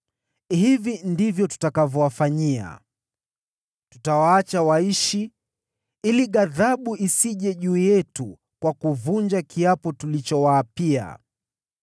Hivi ndivyo tutakavyowafanyia: Tutawaacha waishi, ili ghadhabu isije juu yetu kwa kuvunja kiapo tulichowaapia.”